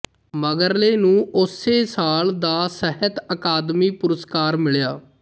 ਮਗਰਲੇ ਨੂੰ ਉਸੇ ਸਾਲ ਦਾ ਸਾਹਿਤ ਅਕਾਦਮੀ ਪੁਰਸਕਾਰ ਮਿਲਿਆ